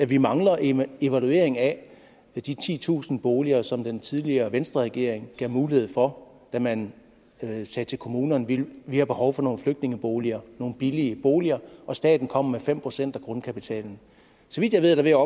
vi mangler en evaluering af de titusind boliger som den tidligere venstreregering gav mulighed for da man sagde til kommunerne vi har behov for nogle flygtningeboliger nogle billige boliger og staten kom med fem procent af grundkapitalen så vidt jeg ved er der